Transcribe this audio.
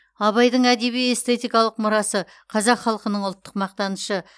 абайдың әдеби эстетикалық мұрасы қазақ халқының ұлттық мақтанышы